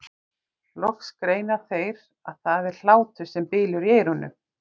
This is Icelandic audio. Loks greina þeir að það er hlátur sem bylur í eyrunum.